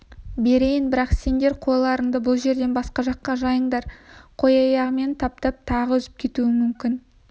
берейін бірақ сендер қойларынды бұл жерден басқа жаққа жайыңдар қой аяғымен таптап тағы үзіп кетуі мүмкін